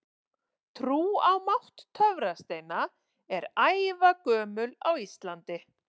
Trú á mátt töfrasteina er ævagömul á Íslandi.